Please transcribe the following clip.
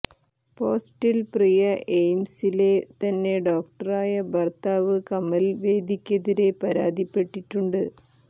പോസ്റ്റിൽ പ്രിയ എയിംസിലെ തന്നെ ഡോക്ടറായ ഭര്ത്താവ് കമല് വേദിക്കെതിരെ പരാതിപ്പെട്ടിട്ടുണ്ട്